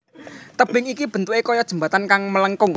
Tebing iki bentuké kaya jembatan kang melengkung